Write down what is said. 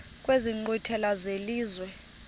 kwezi nkqwithela zelizwe